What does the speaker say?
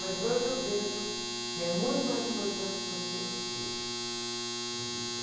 Mas hoje eu vejo que é muito mais importante você ser do que ter.